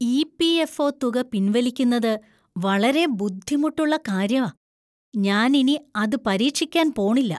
EPFO തുക പിൻവലിക്കുന്നത് വളരെ ബുദ്ധിമുട്ടുള്ള കാര്യാ. ഞാൻ ഇനി അത് പരീക്ഷിക്കാൻ പോണില്ല.